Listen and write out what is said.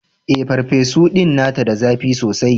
Eh, farfesu din tana da zapi sosai.